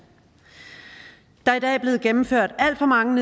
der er i dag blevet gennemført alt for mange